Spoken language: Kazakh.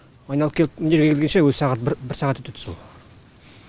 айналып келіп мына жерге келгенше өзі сағат бір сағат өтеді сол